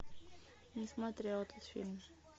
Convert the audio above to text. не смотрела этот фильм